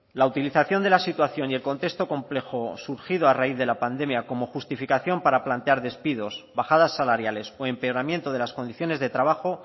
la utilización de la situación y el contexto complejo surgido a raíz de la pandemia como justificación para plantear despidos bajadas salariales o empeoramiento de las condiciones de trabajo